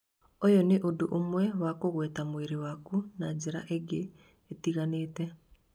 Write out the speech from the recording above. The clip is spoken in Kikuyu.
ũyũ nĩ ũndũ ũmwe wa kũgweta mwĩrĩ waku na njĩra ĩngĩ ĩtiganĩte